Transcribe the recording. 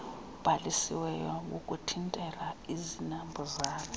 ubhalisiweyo wokuthintela izinambuzane